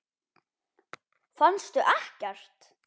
Fannstu ekkert?